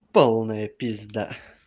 полная пизда